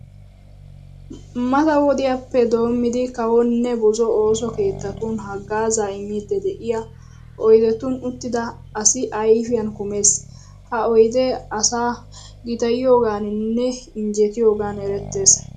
Mata wodiyappe doommidi kawonne buzo ooso keettatun haggaazaa immiiddi de'iya oydetun uttida asi ayfiyan kumees. Ha oydee asaa gitayiyogaaninne injjetiyogan erettees.